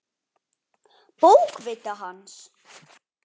Bókviti hans?